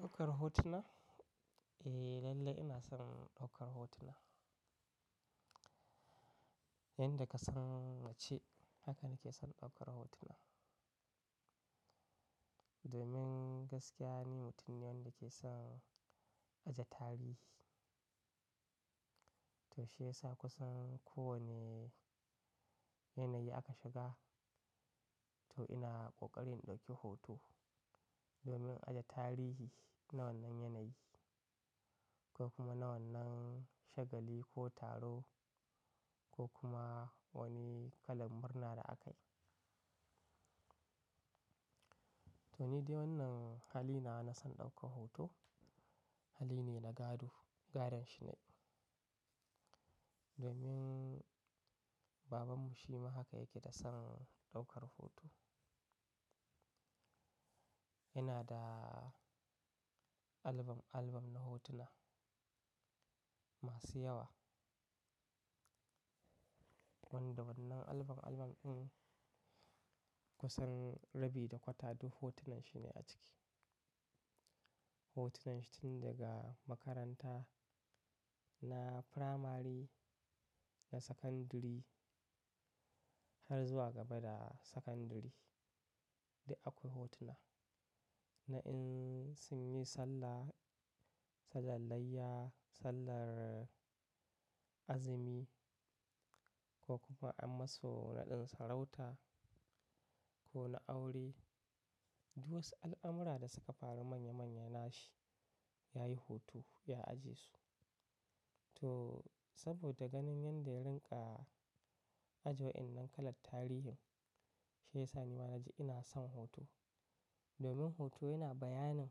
Ɗaukar hotuna? Eh, lalle ina son ɗaukar hotuna. Inda ka san wacce haka nake son ɗaukar hotuna. Domin gaskiya ni mutum ne wanda da ke son ajiye tarihi. To shi yasa kusan kowane yanayi aka shiga, to ina ƙoƙarin ɗauki hoto domin ajiye tarihi na wannan yanayi ko kuma na wannan shagali ko taro ko kuma wani kalan murna da aka yi. Toh ni dai wannan hali nawa na son daukar hoto Hali ne na gado, gadan shi nayi. Domin babanmu shi ma haka yake da son ɗaukar hoto. Yana da album, album na hotuna masu yawa. Wanda wannan album, album in kusan rabi da kwata duk hotunan shi ne a ciki. Hotunan shi tun daga makaranta na firamari da sakandare har zuwa gaba da sakandare. Duk akwai hotuna na in sun yi sallah, sallan layya, sallar azumi ko kuma an masu naɗin sarauta ko na aure. Duk wasu al'amura da suka faru manya manya na shi yayi hoto, ya ajiye su. Toh saboda ganin yanda ya rinƙa aje wadannan kalan tarihin shi ya sa ni ma na ji ina son hoto. Domin hoto yana bayanin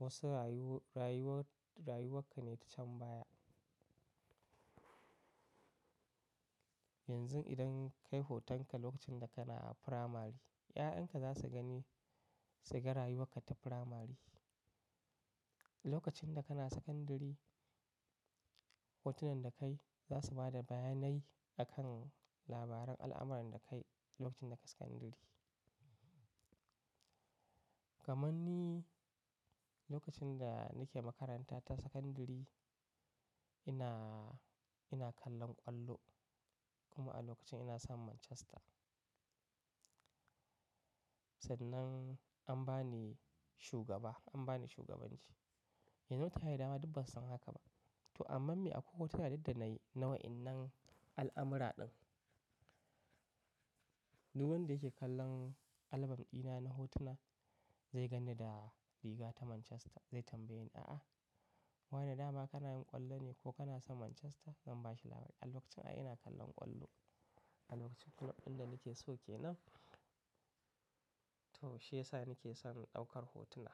wasu rayuwar, rayuwa ka ne ta can baya. Yanzu idan ka yi hotonka lokacin da kana a firamari, 'ya'yanka za su gani, su ga rayuwar ka ta firamari. Lokacin da kana sakandare, hotunan da ka yi za su ba da bayanai akan labaran al'amuran da ka yi lokacin da ka sakandare. Kamanni lokacin da nake makaranta ta sakandare ina, ina kallon kwallo kuma a lokacin ina son Manchester. Duk akwai hotuna na in sun yi sallah, sallan layya, sallar azumi ko kuma an musu naɗin sarauta ko na aure. Yanzu ta yi dama duk ba su san haka ba. To amma me akwai hotuna duk da nayi na wa'innan al'amura din. Duk wanda yake kallon album dina na hotuna zai ganni da riga ta Manchester, zai tambaye ni, "A'a, wa ne dama kana yin kwallo ne ko kana son Manchester?" Zan bashi labari, "A lokacin Ay ina kallon kwallo, alokacin kulob din da nake so ke nan." To shi yasa nake son ɗaukar hotuna.